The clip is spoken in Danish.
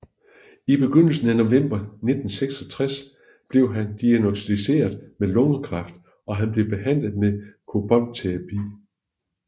I begyndelsen af november 1966 blev han diagnosticeret med lungekræft og han blev behandlet med koboltterapi